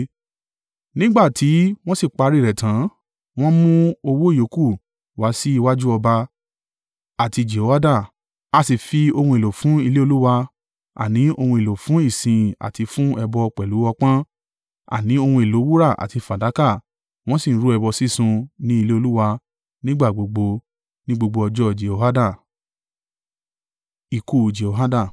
Nígbà tí wọ́n sì parí rẹ̀ tán, wọ́n mú owó ìyókù wá sí iwájú ọba àti Jehoiada, a sì fi ohun èlò fún ilé Olúwa, àní ohun èlò fún ìsìn àti fún ẹbọ pẹ̀lú ọpọ́n, àní ohun èlò wúrà àti fàdákà. Wọ́n sì ń rú ẹbọ sísun ní ilé Olúwa nígbà gbogbo ní gbogbo ọjọ́ Jehoiada.